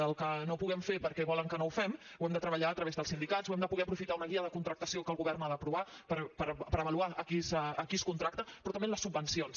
el que no puguem fer perquè volen que no ho fem ho hem de treballar a través dels sindicats o hem de poder aprofitar una guia de contractació que el govern ha d’aprovar per avaluar a qui es contracta però també en les subvencions